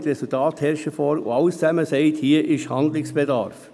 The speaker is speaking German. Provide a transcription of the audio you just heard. Die Resultate liegen vor, und alle sagen: «Hier ist Handlungsbedarf».